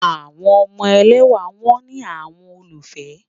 Awọn ọmọ èlẹ́wà wọn ni awọn òlúfẹ́ m